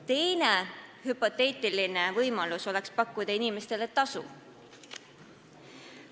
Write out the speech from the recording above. Teine hüpoteetiline võimalus oleks pakkuda inimestele tasu.